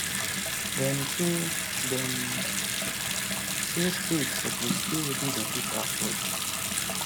dem say dem say states suppose pay wetin dem fit afford